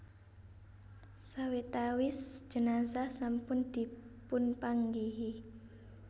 Sawetawis jenazah sampun dipunpanggihi